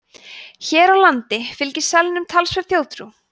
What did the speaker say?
hér á landi fylgir selnum talsverð þjóðtrú